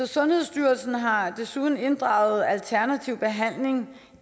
sundhedsstyrelsen har desuden inddraget alternativ behandling